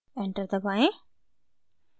enter दबाएं